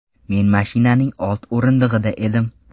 Men mashinaning old o‘rindig‘ida edim.